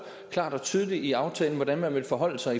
klart og tydeligt i aftalen hvordan man vil forholde sig